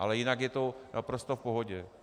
Ale jinak je to naprosto v pohodě.